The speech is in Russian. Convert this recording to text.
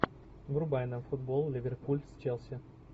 врубай нам футбол ливерпуль с челси